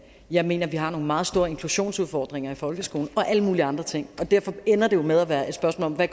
jeg mener vi har nogle meget store inklusionsudfordringer i folkeskolen og alle mulige andre ting og derfor ender det med at være et spørgsmål om hvad